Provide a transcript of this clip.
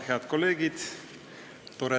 Head kolleegid!